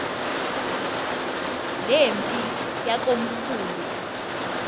le mpi yakomkhulu